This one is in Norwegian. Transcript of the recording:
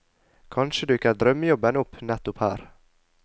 Kanskje dukker drømmejobben opp nettopp her.